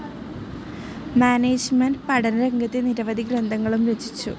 Management പഠനരംഗത്തെ നിരവധി ഗ്രന്ഥങ്ങളും രചിച്ചു.